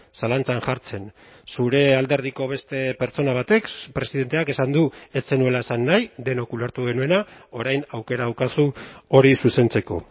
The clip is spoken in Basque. zalantzan jartzen zure alderdiko beste pertsona batek presidenteak esan du ez zenuela esan nahi denok ulertu genuena orain aukera daukazu hori zuzentzeko